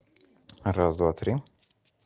раз-два-три